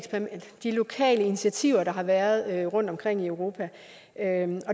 de lokale initiativer der har været rundtomkring i europa